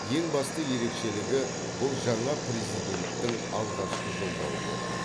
ең басты ерекшелігі бұл жаңа президенттің алғашқы жолдауы болды